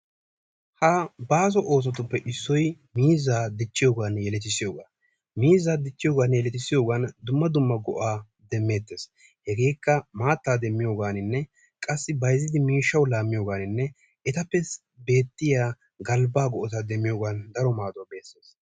Ha baaso oosotuppe issoy miizza dichchiyogane yeletisiyoga. Miizza yeletisiyogane dichchiyiyogan dumma dumma go'a demettes. Hegeekka maatta demiyoganine; qassi bayzzidi miishawu laamiyoganine etappe beetiya galbba go'ata demmiyogan daro maaduwa besees.